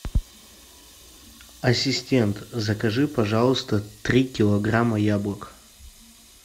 ассистент закажи пожалуйста три килограмма яблок